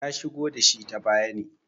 ya shigo da shi ta baya ne